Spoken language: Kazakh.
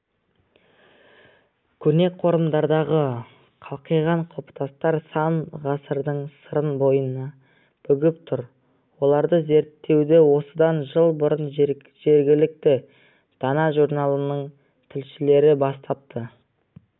көне қорымдардағы қалқиған құлпытастар сан ғасырдың сырын бойына бүгіп тұр оларды зерттеуді осыдан жыл бұрын жергілікті дана журналының тілшілері бастапты